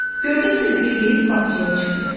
Gördü ki, Bilqeyis bağçaya çıxdı.